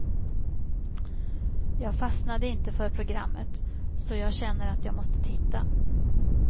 Jag fastnade inte för programmet, så att jag känner att jag måste titta.